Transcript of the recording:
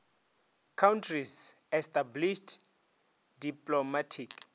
countries established diplomatic